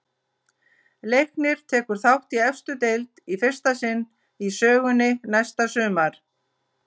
Leiknir tekur þátt í efstu deild í fyrsta sinn í sögunni næsta sumar.